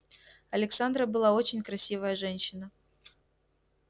александра была очень красивая женщина